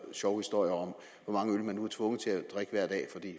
sjove historier om hvor mange øl man nu er tvunget til at drikke hver dag